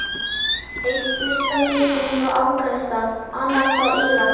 Einn hlustandinn kemur frá Afganistan, annar frá Íran.